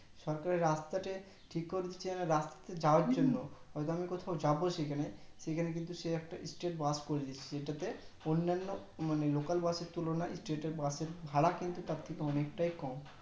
সরকারের রাস্তাতে ঠিক করে দিচ্ছে রাস্তাতে যাওয়ার জন্য হয়তো আমি কোথাও যাবো সেখানে সেখানে কিন্তু সে একটা state bus করে দিচ্ছে জেতাতে অন্যান্য local bus এর তুলনায় state bus এর ভাড়া তার থেকে অনেক তাই কম